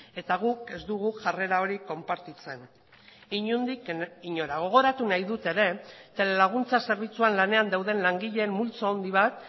eta guk ez dugu jarrera hori konpartitzen inondik inora gogoratu nahi dut ere telelaguntza zerbitzuan lanean dauden langileen multzo handi bat